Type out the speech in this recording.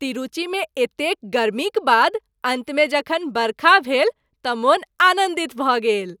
तिरूचिमे एतेक गर्मीक बाद अन्तमे जखन बरखा भेल तँ मोन आनन्दित भऽ गेल।